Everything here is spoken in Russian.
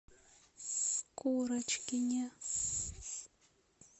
курочкине